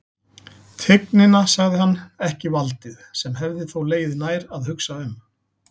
Tignina, sagði hann, ekki valdið, sem hefði þó legið nær að hugsa um.